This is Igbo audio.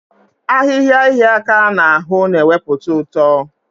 Ahịhịa ịhịa aka n'ahụ na-ewepụta ụtọ.